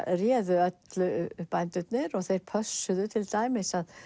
réðu öllu bændurnir og þeir pössuðu til dæmis að